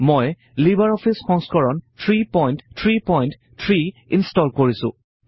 মই লিবাৰ অফিচৰ সংস্কৰণ 333 ইনষ্টল কৰিছোঁ